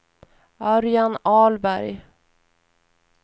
Örjan Ahlberg